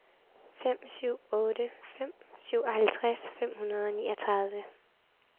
fem syv otte fem syvoghalvtreds fem hundrede og niogtredive